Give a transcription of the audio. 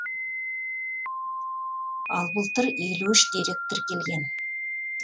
ал былтыр елу үш дерек тіркелген